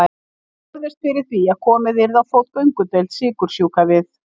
Þau börðust fyrir því að komið yrði á fót göngudeild sykursjúkra við